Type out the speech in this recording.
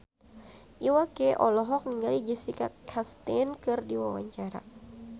Iwa K olohok ningali Jessica Chastain keur diwawancara